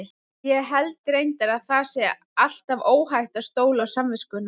Ég held reyndar að það sé alltaf óhætt að stóla á samviskuna.